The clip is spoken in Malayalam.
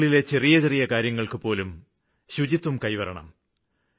വീടിനുള്ളിലെ ചെറിയ ചെറിയ കാര്യങ്ങള്ക്കുപോലും ശുചിത്വം പാലിക്കണം